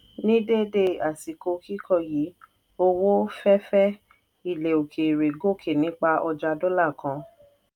ní dédé àsìkò kíkọ yìí owó fẹ́fẹ́ ilẹ òkèèrè gòkè nípa ọjà dọ́là kan.